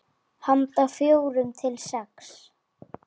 Handa fjórum til sex